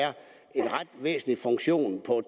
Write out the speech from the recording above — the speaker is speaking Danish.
en ret væsentlig funktion på